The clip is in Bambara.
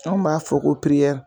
Anw b'a fɔ ko